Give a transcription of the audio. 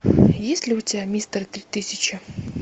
есть ли у тебя мистер три тысячи